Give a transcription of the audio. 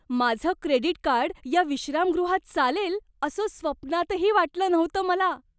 माझं credit card या विश्रामगृहात चालेल असं स्वप्नातही वाटलं नव्हतं मला!